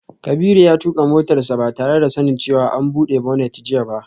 Kabiru ya tuka motarsa ​​ba tare da sanin cewa an bude bonnet jiya ba